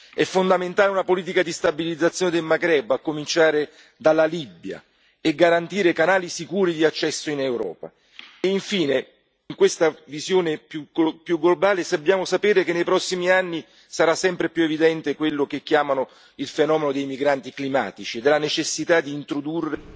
È fondamentale una politica di stabilizzazione del Maghreb, a cominciare dalla Libia, e garantire canali sicuri di accesso in Europa e infine, in questa visione più globale, dobbiamo sapere che nei prossimi anni sarà sempre più evidente quello che viene definito il fenomeno dei migranti climatici e la necessità di introdurre